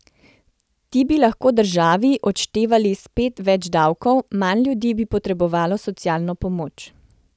Ti bi lahko državi odštevali spet več davkov, manj ljudi bi potrebovalo socialno pomoč.